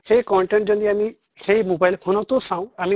সেই content যদি আমি সেই mobile phone তো চাওঁ আমি